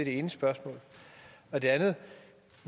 ene spørgsmål det andet er